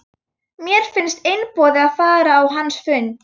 Mér fannst einboðið að fara á hans fund.